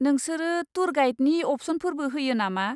नोंसोरो टुर गाइडनि अपसनफोरबो होयो नामा?